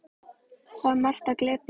Þar er margt til að glepja.